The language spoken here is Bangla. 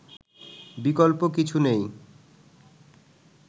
বিকল্প কিছু নেই